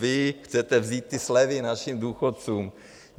Vy chcete vzít i slevy našim důchodcům.